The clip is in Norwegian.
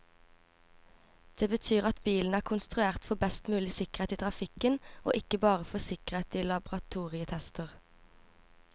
Det betyr at bilen er konstruert for best mulig sikkerhet i trafikken, og ikke bare for sikkerhet i laboratorietester.